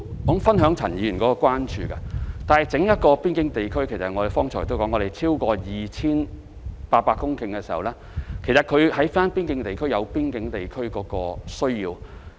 我剛才已指出，整個邊境地區的面積超過 2,800 公頃，其實邊境地區有邊境地區的需要。